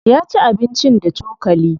Ya ci abincin da cokali.